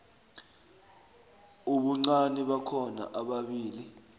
ubuncani bakhona ababili